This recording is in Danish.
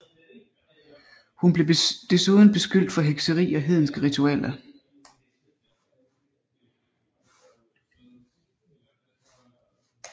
Hun blev desuden beskyldt for hekseri og hedenske ritualer